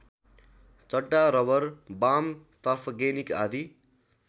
चड्डा rubber वाम तर्फगेनिक आदि